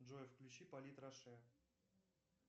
джой включи полит раше